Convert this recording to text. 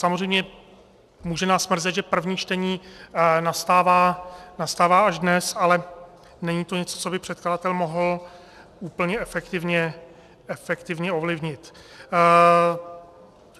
Samozřejmě může nás mrzet, že první čtení nastává až dnes, ale není to něco, co by předkladatel mohl úplně efektivně ovlivnit.